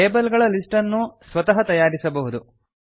table ಗಳ list ಅನ್ನು ಸ್ವತಃ ತಯಾರಿಸಬಹುದು